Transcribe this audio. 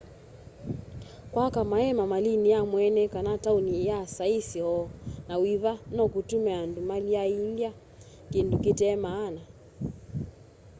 kwaka maeema malini ya mweene kana tauni ya saisi o na wiva nokutume andu malyaiilya kindu kite maana